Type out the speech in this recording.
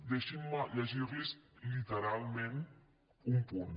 deixin·me llegir·los literalment un punt